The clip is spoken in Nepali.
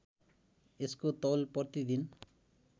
यसको तौल प्रतिदिन